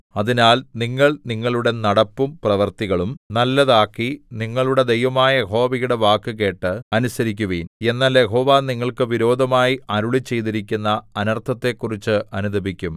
അതിനാൽ നിങ്ങൾ നിങ്ങളുടെ നടപ്പും പ്രവൃത്തികളും നല്ലതാക്കി നിങ്ങളുടെ ദൈവമായ യഹോവയുടെ വാക്കുകേട്ട് അനുസരിക്കുവിൻ എന്നാൽ യഹോവ നിങ്ങൾക്ക് വിരോധമായി അരുളിച്ചെയ്തിരിക്കുന്ന അനർത്ഥത്തെക്കുറിച്ചു അനുതപിക്കും